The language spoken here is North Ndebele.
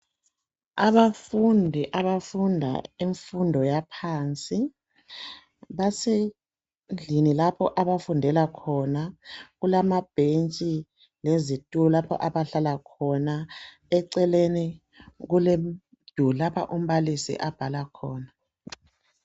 Abafundi abafunda imfundo yaphansi basendlini lapho abafundela khona kulamabhentshi lezitulo lapho abahlala khona, eceleni kulemduli lapha umbalisi abhala khona.